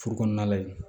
Furu kɔnɔna la yen